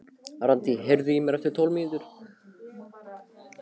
Randí, heyrðu í mér eftir tólf mínútur.